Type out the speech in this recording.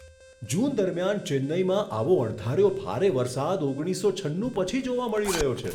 જૂન દરમિયાન ચેન્નઈમાં આવો અણધાર્યો ભારે વરસાદ ઓગણીસસો છન્નુ પછી જોવા મળી રહ્યો છે.